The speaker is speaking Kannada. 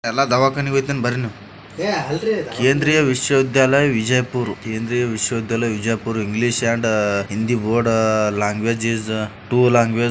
ಎಲ್ಲ ದಾವಾಖಾನೆಗ್ ಹೋಯಿತೀನಿ ಬರ್ರಿ ನೀವ. Kendriya Vishwa Vidyalaya Vijayapura Kendriya Vishwa Vidyalaya Vijayapura English and Hindi board language is two language --